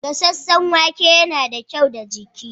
Gasasshen wake yana da kyau ga jiki.